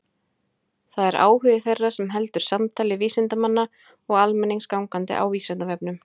Það er áhugi þeirra sem heldur samtali vísindamanna og almennings gangandi á Vísindavefnum.